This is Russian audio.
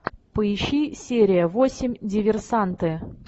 поищи серия восемь диверсанты